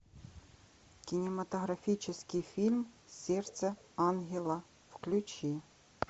кинематографический фильм сердце ангела включи